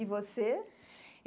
E você?